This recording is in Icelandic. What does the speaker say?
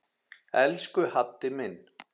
Elsku Haddi minn.